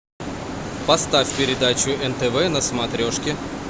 поставь передачу нтв на смотрешке